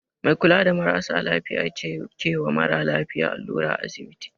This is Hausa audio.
Mai kula da marasa lafiya ce kewa mara lafiya allura a asibiti